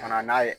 Ka na n'a ye